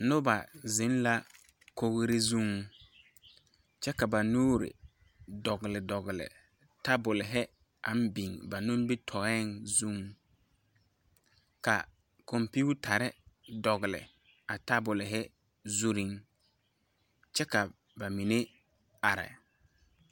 Noba zeŋ la kogre zuŋ kyɛ ka ba nuure dɔgle dɔgle tabolehi aŋ biŋ ba nimitoeɛŋ zuŋ ka kɔmpiutarre dɔgle a tabolehi zurreŋ kyɛ ka ba mine are.